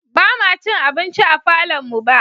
Ba ma cin abinci a falonmu ba.